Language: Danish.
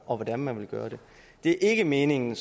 og hvordan man vil gøre det det er ikke meningen